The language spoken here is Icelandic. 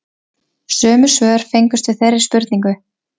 Sömu svör fengust við þeirri spurningu